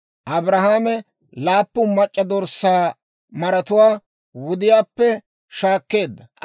Abrahaame laappun mac'c'a dorssaa maratuwaa wudiyaappe shaakkeedda;